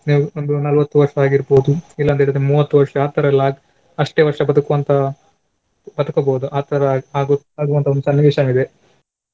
ನೀವು ಒಂದು ನಲ್ವತ್ತು ವರ್ಷವಾಗಿರ್ಬೋದು ಇಲ್ಲಂತ ಹೇಳಿದ್ರೆ ಮೂವತ್ತು ವರ್ಷ ಆ ತರ ಎಲ್ಲ ಆಗ್~ ಅಷ್ಟೇ ವರ್ಷ ಬದುಕುವಂತಹ ಬದುಕಬಹುದು ಆ ತರ ಆಗು~ ಆಗುವಂತಹ ಒಂದು ಸನ್ನಿವೇಶನೇ ಇದೆ.